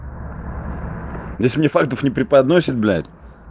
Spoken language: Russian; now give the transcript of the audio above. если мне фактов не преподносит блядь